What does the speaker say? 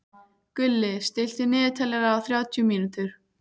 Gulli, stilltu niðurteljara á þrjátíu mínútur.